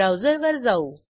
ब्राऊजरवर जाऊ